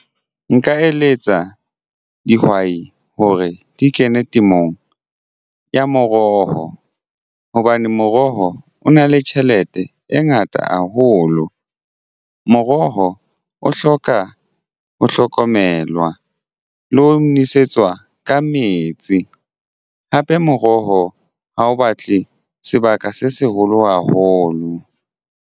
Nka eletsa dihwai hore di kene temong ya meroho hobane moroho o na le tjhelete e ngata haholo. Moroho o hloka ho hlokomelwa le ho nwesetswa ka metsi hape moroho ha o batle sebaka se seholo haholo.